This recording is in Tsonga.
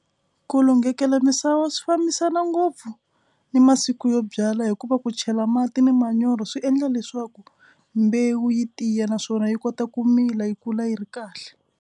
Ku lunghekela misava swi fambisana ngopfu ni masiku yo byala hikuva ku chela mati ni manyoro swi endla leswaku mbewu yi tiya naswona yi kota ku mila yi kula yi ri kahle.